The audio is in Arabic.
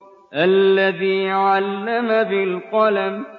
الَّذِي عَلَّمَ بِالْقَلَمِ